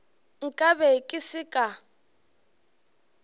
nka be ke se ka